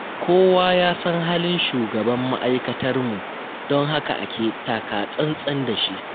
Kowa ya san halin shugaban ma'aikatarmu, don haka ake taka-tsan-tsan da shi.